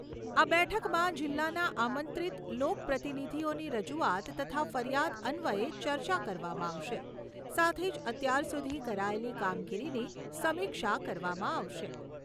આ બેઠકમાં જિલ્લાના આમંત્રિત લોક પ્રતિનિધિઓની રજૂઆત તથા ફરિયાદ અન્વયે ચર્ચા કરવામાં આવશે, સાથે જ અત્યાર સુધી કરાયેલી કામગીરીની સમીક્ષા કરવામાં આવશે.